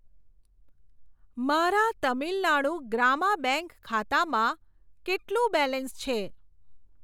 મારા તમિલનાડુ ગ્રામા બેંક ખાતામાં કેટલું બેલેન્સ છે?